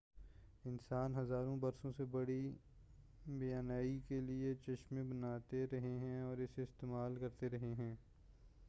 انسان ہزاروں برسوں سے بڑی بینائی کے لئے چشمے بناتے رہے ہیں اور اسے استعمال کرتے رہے ہیں